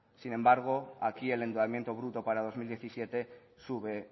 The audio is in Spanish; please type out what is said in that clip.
sin embargo aquí el endeudamiento bruto para dos mil diecisiete sube